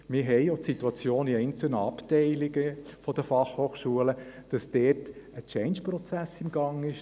Auch haben wir die Situation, dass in einzelnen Abteilungen der BFH ein Changeprozess im Gang ist.